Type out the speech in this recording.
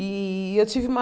E eu tive uma...